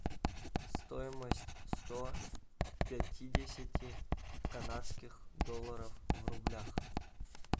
стоимость сто пятидесяти канадских долларов в рублях